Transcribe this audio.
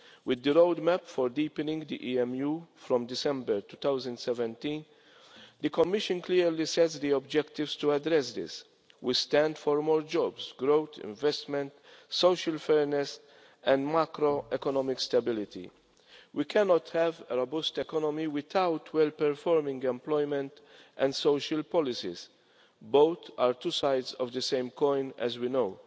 With the roadmap for deepening the EMU from December 2017 the Commission clearly set the objectives to address this. We stand for more jobs, growth, investment, social fairness and macroeconomic stability. We cannot have a robust economy without well performing employment and social policies both are two sides of the same coin, as we know.